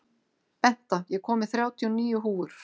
Benta, ég kom með þrjátíu og níu húfur!